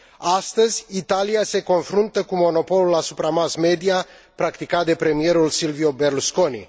Astăzi, Italia se confruntă cu monopolul asupra mass media practicat de premierul Silvio Berlusconi.